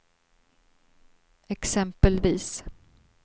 exempelvis